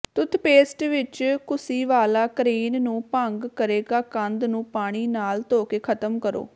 toothpaste ਵਿਚ ਘੁਸੀਵਾਲਾ crane ਨੂੰ ਭੰਗ ਕਰੇਗਾ ਕੰਧ ਨੂੰ ਪਾਣੀ ਨਾਲ ਧੋ ਕੇ ਖ਼ਤਮ ਕਰੋ